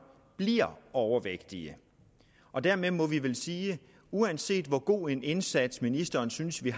bliver overvægtige og dermed må vi vel sige at uanset hvor god en indsats ministeren synes vi